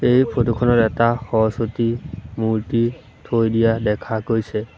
এই ফটোখনত এটা সৰস্বতী মূৰ্ত্তি থৈ দিয়া দেখা গৈছে।